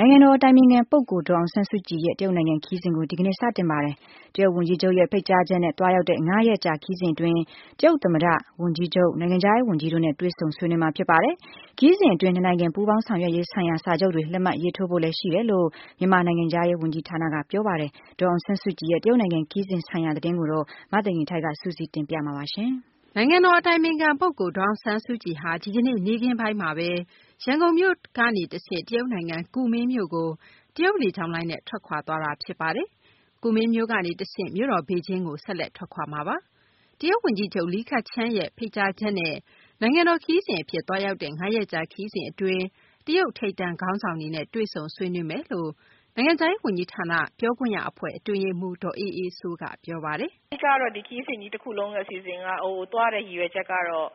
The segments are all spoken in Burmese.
ိုင်ငံတော် အတိုင်ပင်ခံ ဒေါ်အောင်ဆန်းစုကြည်ရဲ့ တရုတ်နိုင်ငံ ခရီးစဉ်ကို ဒီကနေ့ စတင်ပါတယ်။ တရုတ် ဝန်ကြီးချုပ်ရဲ့ ဖိတ်ကြားချက်နဲ့ သွားရောက်တဲ့ ၅ ရက်ကြာ ခရီးစဉ် အတွင်း တရုတ် သမ္မတ၊ ဝန်ကြီးချုပ်၊ နိုင်ငံခြားရေး ဝန်ကြီးတို့နဲ့ တွေ့ဆုံ ဆွေးနွေးမှာ ဖြစ်ပါတယ်။ ခရီးစဉ်အတွင်း နှစ်နိုင်ငံ ပူးပေါင်းဆောင်ရွက်ရေးဆိုင်ရာ စာချုပ်တွေ လက်မှတ်ရေးထိုးဖို့လည်း ရှိတယ်လို့ မြန်မာနိုင်ငံခြားရေး ဝန်ကြီးဌာနက ပြောပါတယ်။ ဒေါ်အောင်ဆန်းစုကြည်ရဲ့ တရုတ်နိုင်ငံ ခရီးစဉ် ဆိုင်ရာ သတင်းကိုတော့ မသိင်္ဂ ီထိုက် စုစည်းတင်ပြမှာပါ။ နိုင်ငံတော် အတိုင်ပင်ခံ ပုဂ္ဂိုလ် ဒေါ်အောင်ဆန်းစုကြည်ဟာ ဒီကနေ့ နေ့ခင်းပိုင်းမှာဘဲ ရန်ကုန်မြို့ကနေ တရုတ်နိုင်ငံ ကူးမင်းမြို့ကို တရုတ်လေကြောင်းလိုင်းနဲ့ ထွက်ခွာသွားတာ ဖြစ်ပါတယ်။ ကူမင်းမြို့နေ တဆင့် မြို့တော် ဘေဂျင်းကို ဆက်လက်ထွက်ခွာမှာပါ။တရုတ် ဝန်ကြီးချုပ် လီခချန်းရဲ့ ဖိတ်ကြားချက်နဲ့ နိုင်ငံတော် ခရီးစဉ် အဖြစ် သွားရောက်တဲ့ ၅ ရက်ကြာ ခရီးစဉ် အတွင်း တရုတ် ထိပ်တန်း ခေါင်းဆောင်တွေနဲ့ တွေ့ဆုံဆွေးနွေးမယ်လို့ နိုင်ငံခြားရေး ဝန်ကြီးဌာန ပြောခွင့်ရ အဖွဲ့ အတွင်းရေးမှူး ဒေါ်အေးအေးစိုးက ပြောပါတယ်။ “အဓိကတော့ ဒီခရီးစဉ်ကြီး တခုလုံး အစီအစဉ်က သွားရတဲ့ ရည်ရွယ်ချက်ကတော့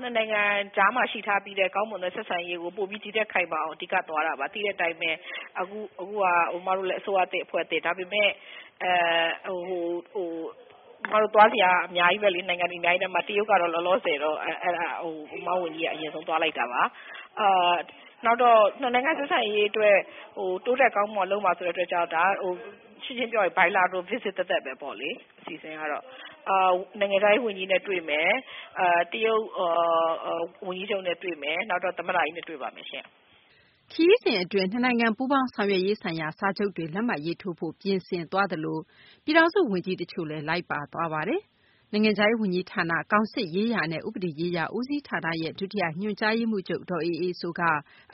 နှစ်နိုင်ငံကြားမှာ ရှိထားပြီးတဲ့ ကောင်းမွန်တဲ့ ဆက်ဆံရေးကို ဒီထက်ခိုင်မာအောင် အဓိကသွားတာပါ။ သိတဲ့အတိုင်းပဲ အခုက အမတို့က အစိုးရသစ် အဖွဲ့အသစ်။ ဒါပေမယ့် အမတို့သွားစရာ နိုင်ငံတွေအများကြီးထဲမှာ တရုတ်ကတော့ လောလောဆယ်တော့ အမတို့ဝန်ကြီးက အရင်ဆုံးသွားလိုက်တာပါ။ နောက်တော့ ၂ နိုင်ငံ ဆက်ဆံရေးအတွက် တိုးတက်ကောင်းမွန်အောင် လုပ်မယ်ဆိုတဲ့ အတွက်ကြောင့် ဒါက ရှင်းရှင်းပြောရင် bilateral visit သက်သက်ပဲပေါ့လေ။ အစီအစဉ်ကတော့ နိုင်ငံခြားရေး ဝန်ကြီးနဲ့တွေ့မယ်၊ တရုတ်ဝန်ကြီးချုပ်နဲ့တွေ့မယ်၊ နောက်တော့ သမ္မတကြီးနဲ့ တွေ့ပါမယ်ရှင့်။” ခရီးစဉ် အတွင်းမှာ နှစ်နိုင်ငံ ပူးပေါင်းဆောင်ရွက်ရေးဆိုင်ရာ စာချုပ်တွေ လက်မှတ်ရေးထိုးဖို့ ပြင်ဆင်သွားသလို ပြည်ထောင်စု ဝန်ကြီး တချို့လည်း လိုက်ပါသွားပါတယ်။ နိုင်ငံခြားရေး ဝန်ကြီးဌာန ကောင်စစ်ရေးရာနဲ့ ဥပဒေရေးရာ ဦးစီးဌာန ဒုတိယ ညွှန်ကြားရေးမှူးချုပ် ဒေါ်အေးအေးစိုးက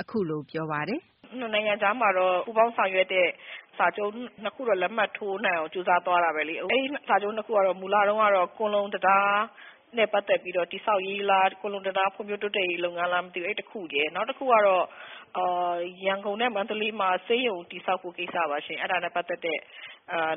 အခုလို ပြောပါတယ်။ “ နှစ်နိုင်ငံကြားမှာတော့ ပူးပေါင်းဆောင်ရွက်တဲ့ စာချုပ် ၂ ခုတော့ လက်မှတ်ထိုးနိုင်အောင် ကြိုးစားသွားတာပဲလေ။ အဲဒီ စာချုပ် ၂ ခုကတော့ မူလ တုန်းကတော့ ကွန်လုံတံတားနဲ့ ပတ်သက်ပြီးတော့ တည်ဆောက်ရေးလား၊ ကွန်လုံတံတားဖွံ့ဖြိုးတိုးတက်ရေး လုပ်ငန်းလားမသိဘူး အဲဒီတခုရယ်၊ နောက်တခုကတော့ ရန်ကုန်နဲ့ မန္တလေးမှာ ဆေးရုံတည်ဆောက်ဖို့ ကိစ္စပါရှင့်။ အဲဒါနဲ့ ပတ်သက်တဲ့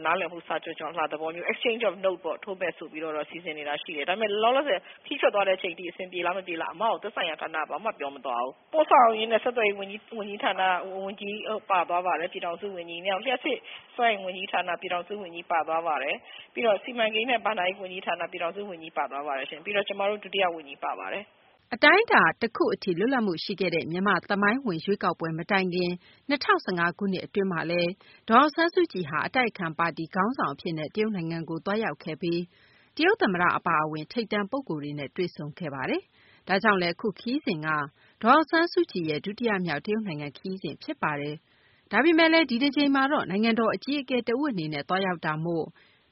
နားလည်မှု စာချွန်လွှာ သဘောမျိုး Exchange of note ပေါ့ ထိုးမယ်ဆိုတာ စီစဉ်နေတာရှိတယ်။ ဒါပေမယ့် လောလောဆယ် ခရီးထွက်သွားတဲ့အချိန်အထိ အဆင်ပြေလား မပြေလားဆိုတာ သက်ဆိုင်ရာဌာနက ဘာမှ မပြောသွားဘူး။ ပို့ဆောင်ရေးနဲ့ ဆက်သွယ်ရေး ဝန်ကြီးဌာန ဝန်ကြီး ပါသွားပါတယ်။ ပြည်ထောင်စု ဝန်ကြီး။ နောက်ပြီး လျှပ်စစ် စွမ်းအင်ဝန်ကြီးဌာနက ပြည်ထောင်စုဝန်ကြီးပါသွားပါတယ်။ နောက်စီမံကိန်းနဲ့ ဘဏ္ဍာရေးဝန်ကြီးဌာန ပြည်ထောင်စုဝန်ကြီးပါသွားပါတယ်ရှင့် ပြီးတော့ ကျမတို့ ဒုတိယဝန်ကြီး ပါပါတယ်။” အတိုင်းအတာ တခု အထိ လွတ်လပ်မှု ရှိခဲ့တဲ့ မြန်မာ့ သမိုင်းဝင် ရွေးကောက်ပွဲ မတိုင်ခင် ၂၀၁၅ ခုနှစ် အတွင်းမှာလည်း ဒေါ်အောင်ဆန်းစုကြည်ဟာ အတိုက်အခံ ပါတီ ခေါင်းဆောင် အဖြစ်နဲ့ တရုတ်နိုင်ငံကို သွားရောက်ခဲ့ပြီး တရုတ် သမ္မတ အပါအဝင် ထိပ်တန်း ပုဂ္ဂိုလ်တွေနဲ့ တွေ့ဆုံခဲ့သေးတာပါ။ ဒါကြောင့်လည်း အခု ခရီးစဉ်က ဒေါ်အောင်ဆန်းစုကြည်ရဲ့ ဒုတိယမြောက် တရုတ်နိုင်ငံ ခရီးစဉ် ဖြစ်ပါတယ်။ ဒါပေမယ့် ဒီတကြိမ်မှာတော့ နိုင်ငံတော် အကြီးအကဲ တဦးအနေနဲ့ သွားရောက်တာမို့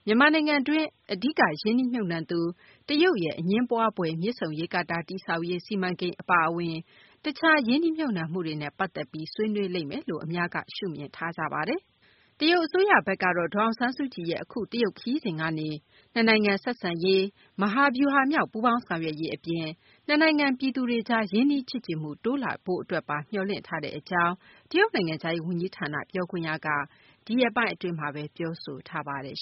မြန်မာနိုင်ငံတွင်း အဓိက ရင်းနှီးမြှုပ်နှံသူ တရုတ်ရဲ့ အငြင်းပွားဖွယ် မြစ်ဆုံရေကာတာ တည်ဆောက်ရေး စီမံကိန်း အပါအဝင် တခြား ရင်းနှီးမြှုပ်နှံမှုတွေနဲ့ ပတ်သက်ပြီး ဆွေးနွေးလိမ့်မယ်လို့လည်း အများက ရှုမြင်ထားကြပါတယ်။ တရုတ်အစိုးရဘက်ကတော့ ဒေါ်အောင်ဆန်းစုကြည်ရဲ့ အခု တရုတ်ခရီးစဉ်ကနေ နှစ်နိုင်ငံ ဆက်ဆံရေး မဟာဗျူဟာမြောက် ပူးပေါင်းဆောင်ရွက်ရေး အပြင် နှစ်နိုင်ငံ ပြည်သူတွေ ရင်းနှီးချစ်ကြည်မှု တိုးလာရေးတို့ပါ မျှော်လင့်ထားတဲ့ အကြောင်း တရုတ်နိုင်ငံခြားရေး ဝန်ကြီးဌာန ပြောခွင့်ရက ဒီရက်ပိုင်း အတွင်းမှာဘဲ ပြောဆိုထားပါတယ်